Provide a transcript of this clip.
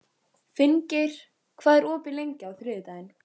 Finngeir, hvað er opið lengi á þriðjudaginn?